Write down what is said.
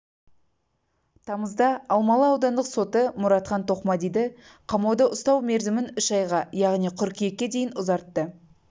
тамызда алмалы аудандық соты мұратхан тоқмадиді қамауда ұстау мерзімін үш айға яғни қыркүйекке дейін ұзарттты